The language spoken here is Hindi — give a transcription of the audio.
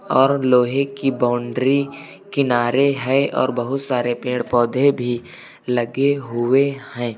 और लोहे की बाउंड्री किनारे है और बहुत सारे पेड़ पौधे भी लगे हुए हैं।